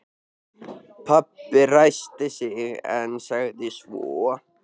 Pabbi ræskti sig en sagði svo